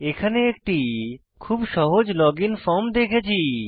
এখানে একটি খুব সহজ লগইন ফর্ম দেখেছি